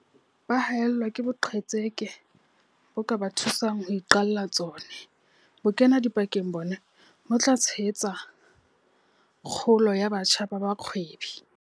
Ba haellwa ke boqhetseke bo ka ba thusang ho iqalla tsona. Bokenadipakeng bona bo tla tshehetsa kgolo ya batjha ba bahwebi.